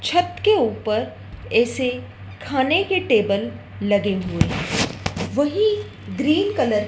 छत के ऊपर ए_सी खाने की टेबल लगे हुए हैं वहीं ग्रीन कलर --